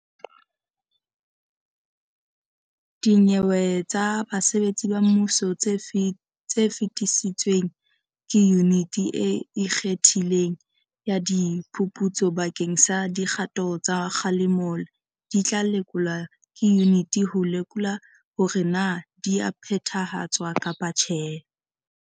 Dinyewe tsa basebetsi ba mmuso tse fetisitsweng ke Yuniti e Ikgethileng ya Di phuputso bakeng sa dikgato tsa kgalemo di tla lekolwa ke yuniti ho lekola hore na di a phethahatswa kapa tjhe.